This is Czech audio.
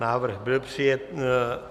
Návrh byl přijat.